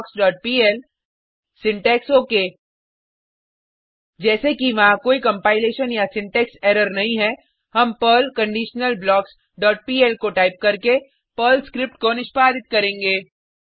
conditionalblocksपीएल syntax ok जैसे कि वहाँ कोई कंपाइलेशन या सिंटेक्स एरर नहीं है हम पर्ल कंडीशनलब्लॉक्स डॉट पीएल को टाइप करके पर्ल स्क्रिप्ट को निष्पादित करेंगे